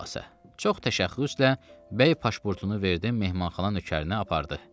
Xülasə, çox təşəxxüslə bəy pasportunu verdim Mehmanxana Nökərinə apardı.